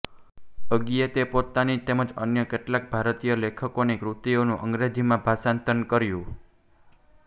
અજ્ઞેયે પોતાની તેમજ અન્ય કેટલાક ભારતીય લેખકોની કૃતિઓનું અંગ્રેજીમાં ભાષાંતર કર્યું